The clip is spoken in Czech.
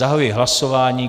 Zahajuji hlasování.